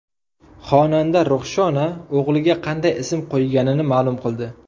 Xonanda Ruxshona o‘g‘liga qanday ism qo‘yganini ma’lum qildi.